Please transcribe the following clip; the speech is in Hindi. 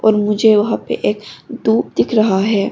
और मुझे वहां पे ए दुप दिख रहा है।